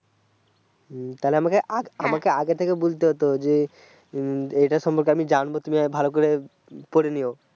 তাহলে আমাকে আগে থেকে বুলতে হতো যে এটার সম্পর্কে আমি জানবো কি ভাবে পরে লিয়ো